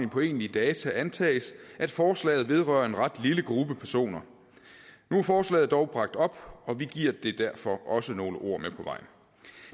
på egentlige data antages at forslaget vedrører en ret lille gruppe personer nu er forslaget dog bragt op og vi giver det derfor også nogle ord med på vejen